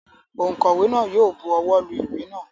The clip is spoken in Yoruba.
Ònkówè náà yi o buwó lu ìwé náà